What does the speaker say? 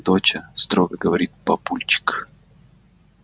доча строго говорит папульчик